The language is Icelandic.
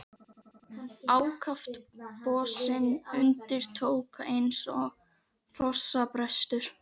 Ákaft bossinn undir tók, eins og hrossabrestur!